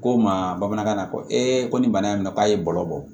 Ko n ma bamanankan na ko ko ni bana in k'a ye bɔlɔ bɔ